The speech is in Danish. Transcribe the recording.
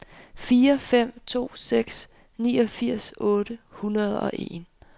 fire fem to seks niogfirs otte hundrede og en